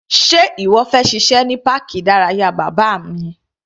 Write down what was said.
Sé ìwọ fẹ́ ṣe iṣẹ́ ní páàkì ìdárayá bàbá mi?